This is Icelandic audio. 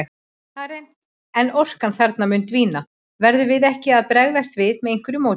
Karen: En orkan þarna mun dvína, verðum við ekki að bregðast við með einhverju móti?